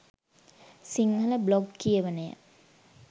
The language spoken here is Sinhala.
සිංහල බ්ලොග් කියවනය